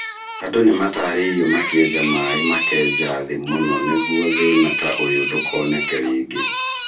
Andũ nĩ matarĩirio makĩenja maĩ makenja thĩ mũno nĩguo thĩna ta ũyũ ndũkoneke rĩngĩ.